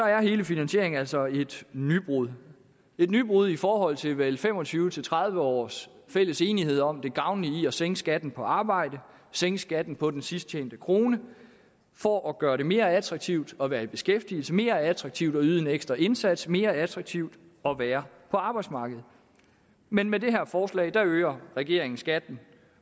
er hele finansieringen altså et nybrud et nybrud i forhold til vel fem og tyve til tredive års fælles enighed om det gavnlige i at sænke skatten på arbejde sænke skatten på den sidst tjente krone for at gøre det mere attraktivt at være i beskæftigelse mere attraktivt at yde en ekstra indsats mere attraktivt at være på arbejdsmarkedet men med det her forslag øger regeringen skatten